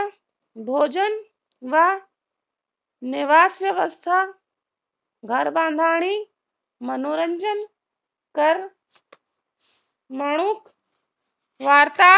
भोजन व निवास व्यव्यस्था घरबांधणी मनोरंजन कर मनुक